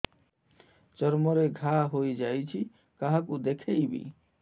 ଚର୍ମ ରେ ଘା ହୋଇଯାଇଛି କାହାକୁ ଦେଖେଇବି